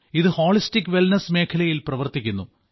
ഇത് holistic wellness മേഖലയിൽ പ്രവർത്തിക്കുന്നു